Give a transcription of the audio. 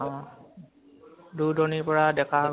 অহ দুৰ দুৰনিৰ পৰা ডেকা সকলে